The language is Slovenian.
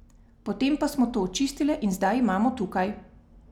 Potem pa smo to očistile in zdaj imamo tukaj.